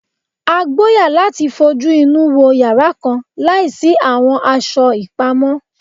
A gboya lati fojuinu yara kan laisi awọn aṣọ ipamọ